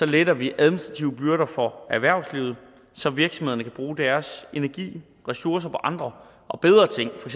letter vi administrative byrder for erhvervslivet så virksomhederne kan bruge deres energi og ressourcer på andre og bedre ting for